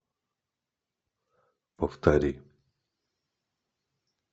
повтори